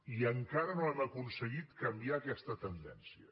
i encara no hem aconseguit canviar aquesta tendència